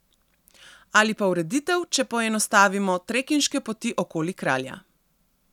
Ali pa ureditev, če poenostavimo, trekinške poti okoli kralja.